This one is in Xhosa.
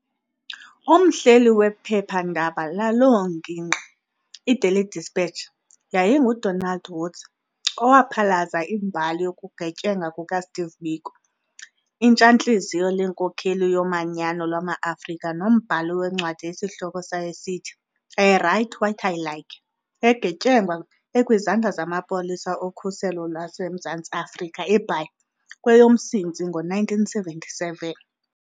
Umhleli wephepha-ndaba laloo ngingqi, i"Daily Dispatch", yayinguDonald Woods, owaphalaza imbali yokugetyengwa kukaSteve Biko, itshantlizyo lenkokheli yomanyano lwamaAfrika nombhali wencwadi esihloko sayo sithi "I Write What I Like", egetyengwa ekwizandla zamapolisa okhuselo lwaseMzantsi Afrika eBhayi, kweyomMsintsi ngo-1977.